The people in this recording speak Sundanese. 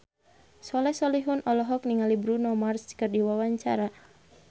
Soleh Solihun olohok ningali Bruno Mars keur diwawancara